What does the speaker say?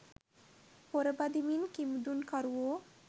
පොර බදිමින් කිමිදුම් කරුවෝ